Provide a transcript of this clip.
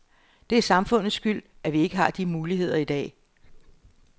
Det er samfundets skyld, at vi ikke har de muligheder i dag.